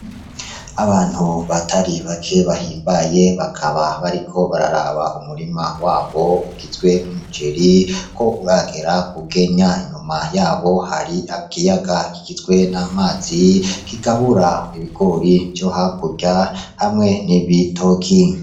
Abantu batari bake bahimbaye bakaba bariko bararaba umurima wabo ugizwe n'umuceri ko uragera k'ugenya inyuma yabo hari ikiyaga kigizwe n'amazi kigabura ibigori vyo hakurya hamwe n'ibitoki.